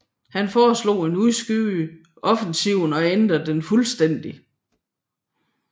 Han foreslog at udskyde offensiven og ændre den fuldstændig